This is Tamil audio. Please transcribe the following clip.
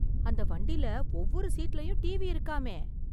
அந்த வண்டிலே ஒவ்வொரு சீட்லயும் டிவி இருக்காமே!!